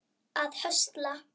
að höstla